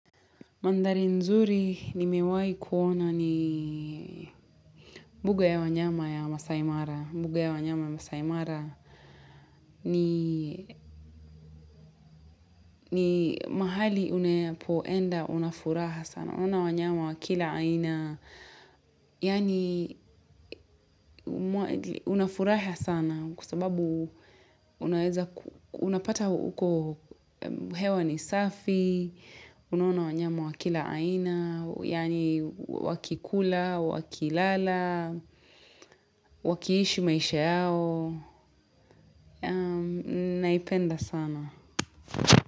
Mandhari nzuri nimewai kuona ni mbuga ya wanyama ya Masaimara. Mbuga ya wanyama ya Masaimara ni mahali unayapoenda unafuraha sana. Unaona wanyama wa kila aina. Yani unafuraha sana kwa sababu unapata huko hewa ni safi. Unaona wanyama wa kila aina, yaani wakikula, wakilala, wakiishi maisha yao. Naipenda sana.